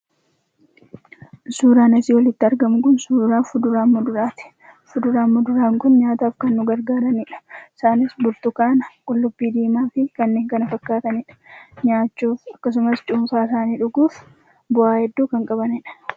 Suuraan asii olitti argamu kun, suuraa fuduraa fi muduraati. Fuduraa fi muduraan kun nyaata akkaan nu gargaaranidha. Isaanis burtukaana, qullubbii diimaa fi kanneen kana fakkaatan nyaachuun akkasumas cuunfaa isaanii dhuguun bu'aa hedduu kan qabdanidha.